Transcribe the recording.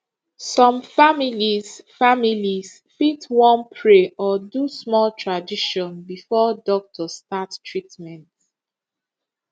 some families families fit wan pray or do small tradition before doctor start treatment